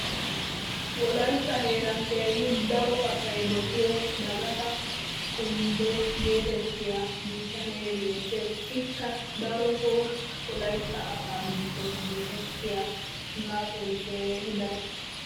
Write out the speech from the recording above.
wolaytta heeran keehi daro asay dossiyo dagatoo kumbee geetettiya bitanee beetees. ikka darotoo wolaytta asaa giddon dosettiyo gaasoy keehi daro.